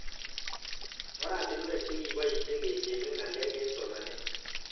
Oratinwek che kipoishe kecheng'e ng'alek eng' somanet